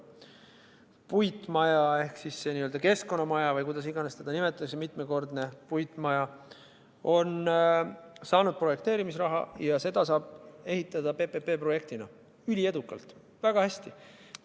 Puitmaja ehk see n-ö keskkonnamaja või kuidas iganes seda nimetatakse, see mitmekordne puitmaja, on saanud projekteerimisraha ja seda saab ehitada PPP-projektina – üliedukalt, väga hästi.